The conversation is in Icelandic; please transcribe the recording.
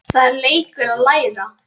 Það er leikur að læra